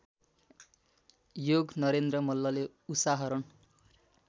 योगनरेन्द्र मल्लले उषाहरण